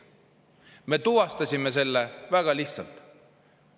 Me tuvastasime selle väga lihtsalt.